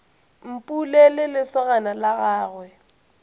mpule le lesogana la gagwe